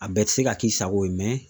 A bɛɛ te se ka k'i sago ye